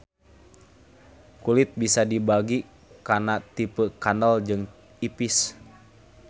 Kulit bisa dibagi kana tipeu kandel jeung ipis.